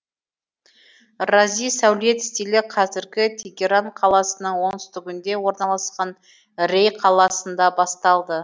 рази сәулет стилі қазіргі тегеран қаласының оңтүстігінде орналасқан рей қаласында басталды